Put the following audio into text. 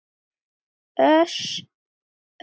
Orsök bilunar?